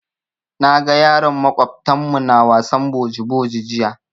Na ga yaran maƙwabtan mu na wasan boji boji jiya.